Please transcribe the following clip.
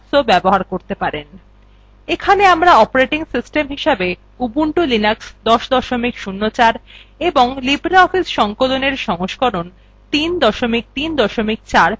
এখানে আমরা operating system হিসেবে উবুন্টু লিনাক্স ১০ ০৪ এবং libreoffice সংকলনএর সংস্করণ ৩ ৩ ৪ ব্যবহার করছি